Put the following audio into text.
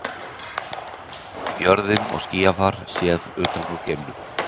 Jörðin og skýjafar séð utan úr geimnum.